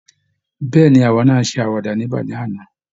Bẹ́ẹ̀ ni, àwa náa ṣe àwàdà níbẹ̀ lánàá